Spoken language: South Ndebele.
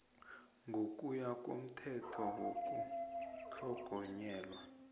ngokuya komthetho wokutlhogonyelwa